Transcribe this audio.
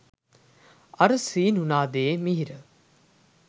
අර සීනු නාදයේ මිහිර